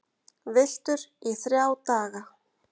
Villtur í þrjá daga